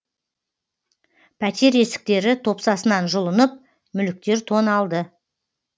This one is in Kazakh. пәтер есіктері топсасынан жұлынып мүліктер тоналды